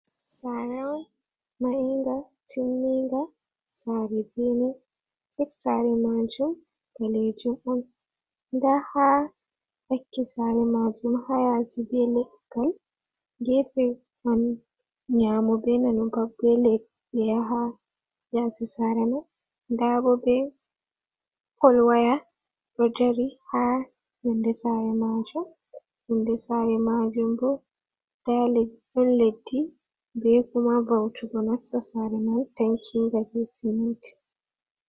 Saare on mahinga, tinminga sare bene get sare majum ɓalejum on nda ha ɗakki sare majum ha yasi be leggal gefe man nyamo be nano pat be leɗɗe ha yasi sare man ndabo be pol waya ɗo dari ha younde sare majum, younde sare majum bo ɗon leddi be kuma va'utuggo nasta sare man tankinga be siminti.